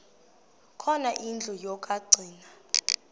khona indlu yokagcina